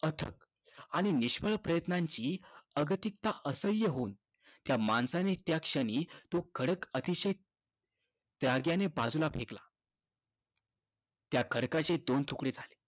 अथक आणि निष्फळ प्रयत्नांची अगतिकता असह्य होऊन त्या माणसाने त्या क्षणी तो खडक त्या क्षणी अतिशय रागाने बाजूला फेकला. त्या खडकाचे दोन तुकडे झाले.